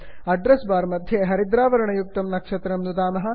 address bar मध्ये हरिद्रावर्णयुक्तं नक्षत्रं नुदामः